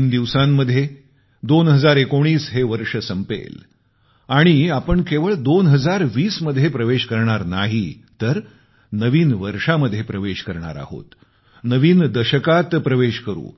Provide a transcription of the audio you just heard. तीन दिवसांमध्ये 2019 हे वर्ष संपेल आणि आपण केवळ 2020 मध्ये प्रवेश करणार नाही तर नवीन वर्षामध्ये प्रवेश करणार आहोत नवीन दशकात प्रवेश करू